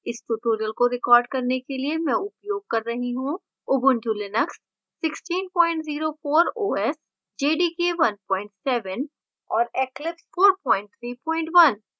इस tutorial को record करने के लिए मैं उपयोग कर रही हूँ : ubuntu linux 1604 os jdk 17 और eclipse 431